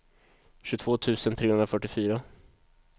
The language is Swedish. tjugotvå tusen trehundrafyrtiofyra